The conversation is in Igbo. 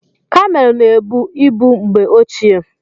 Kameelụ na-ebu ibu mgbe ochie.